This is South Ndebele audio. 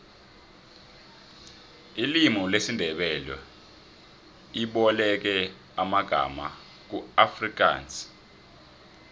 ilimu lesindebele iboleke amangama kuafrikansi